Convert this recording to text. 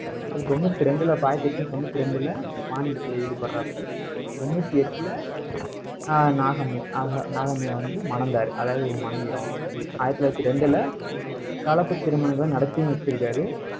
அப்புறம், தொண்ணூத்தி ரெண்டுல, அப்ப ஆயிரத்தி எட்நூத்தி தொண்ணூத்தி ரெண்டுல, வாணிபத்துல ஈடுபடுறாப்டி. தொண்ணூத்தி எட்டுல ஆஹ் நாகம்மை நாகம்மைய வந்து மணந்தாரு. அதாவது, ஆயிரத்தி தொள்ளாயிரத்தி ரெண்டுல, கலப்புத் திருமணங்களை நடத்தியும் வச்சிருக்காரு.